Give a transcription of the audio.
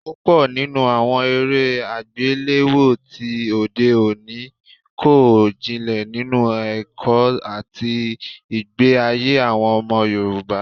Púpọ̀ nínú àwọn eré àgbéléwò tí òde òní kò jinlẹ̀ nínú ẹ̀kọ́ àti ìgbé ayé àwọn ọmọ Yorùbá